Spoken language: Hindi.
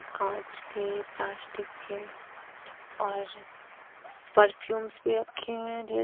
कांच के प्लास्टिक के और परफ्यूम्स भी रखे हुए हैं ढेर--